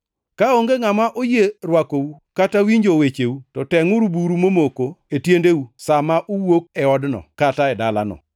Kaonge ngʼama oyie rwakou kata winjo wecheu, to tengʼuru buru momoko e tiendeu sa ma uwuok e odno kata e dalano.